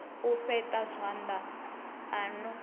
u fheṱa zwanḓa o no